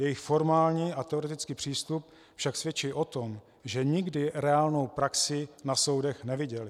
Jejich formální a teoretický přístup však svědčí o tom, že nikdy reálnou praxi na soudech neviděli.